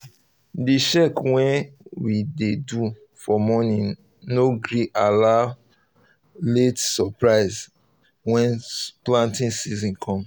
the check wey um we dey do um for morning no um gree allow late suprises when planting season come